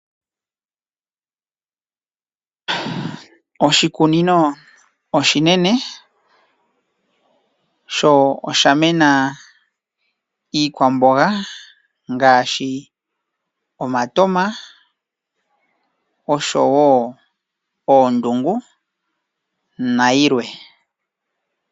Oshikunino oshinene sho osha mena iikwamboga ngaashi omatama, osho wo oondungu nayilwe.